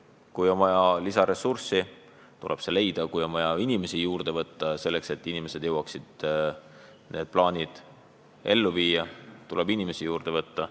Kui on vaja lisaressurssi, tuleb see leida, kui on vaja inimesi juurde võtta, et jõuaks need plaanid ellu viia, siis tuleb inimesi juurde võtta.